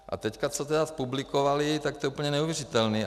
A teď co tedy publikovali, tak to je úplně neuvěřitelné.